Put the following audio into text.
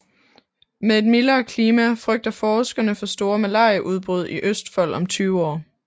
Med et mildere klima frygter forskerne for store malariaudbrud i Østfold om tyve år